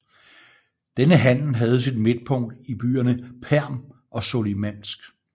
Denne handel havde sit midtpunkt i byerne Perm og Solikamsk